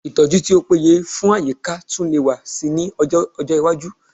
Ìtọ́jú tí ó péye fún àyíká tún lè wà síi ní ọjọ́ iwájú